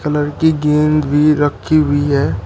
Colour की गेंद भी रखी हुई है।